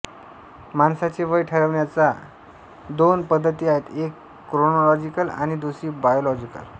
माणसाचे वय ठरविण्याच्यापा दोन पद्धती आहेत एक क्रोनॉलॉजिकल आणि दुसरी बायॉलॉजिकल